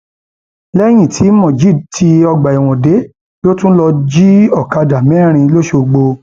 lẹyìn tí mojeed tí ọgbà ẹwọn dé ló tún lọọ jí ọkadà mẹrin lọsọgbó